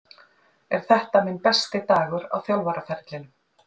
Er þetta minn besti dagur á þjálfaraferlinum?